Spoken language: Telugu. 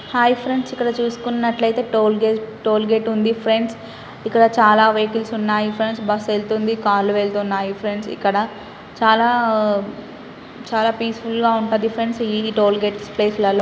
హయ్ ఫ్రండ్స్ ఇక్కడ చూస్కున్నట్లైతే టోల్గెట్ టోల్గెట్ ఉంది ఫ్రెండ్స్ ఇక్కడ చాలా వెహికల్స్ ఉన్నాయి ఫ్రెండ్స్ బస్ ఎళ్తుంది కార్ లు వెళ్తున్నాయి ఫ్రెండ్స్ ఇక్కడ చాలా చాలా పీస్ఫుల్ గా ఉంటుంది ఫ్రెండ్స్ ఈ టోల్గెట్ ప్లేస్ లలో